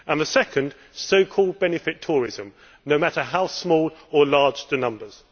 The second is so called benefit tourism, no matter how small or large the numbers.